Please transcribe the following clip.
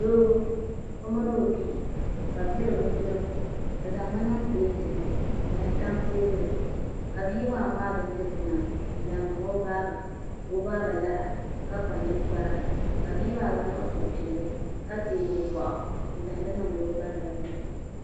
Doo o mini o bihi ka bi diri bindirigu bi zaŋmi niŋ pileet ni n zaŋ tam teebuli zuɣu ka bia maa ŋmaai bindirigu maa n zaŋ niŋ o baaba ka o baaba lara ka kpa ninkpara ka bia maa gba niŋ suhupiɛlli ka teegi o boɣu n zaŋdi niŋdi o ba noli ni